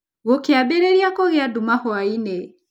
Gũkĩambĩrĩria kũgĩa nduma hwaĩ-inĩ.